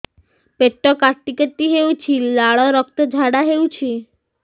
ପେଟ କାଟି କାଟି ହେଉଛି ଲାଳ ରକ୍ତ ଝାଡା ହେଉଛି